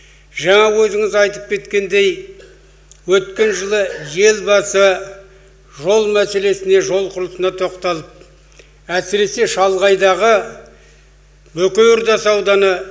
жаңа өзіңіз айтып кеткендей өткен жылы елбасы жол мәселесі жол құрылысына тоқталып әсіресе шалғайдағы бөкей ордасы ауданы